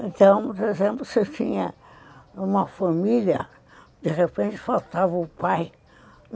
Então, por exemplo, se eu tinha uma família, de repente, faltava o pai.